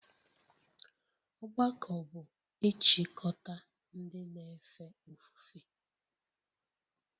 Ọgbakọ bụ ịchịkọta ndị na-efe ofufe